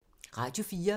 Radio 4